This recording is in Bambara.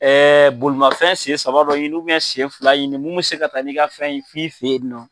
BolImafɛn sen saba dɔ ɲini, sen fila ɲini mun bɛ se ka taa n'i ka fɛn ye f'i fɛ yen nɔ.